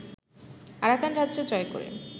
Arakan রাজ্য জয় করে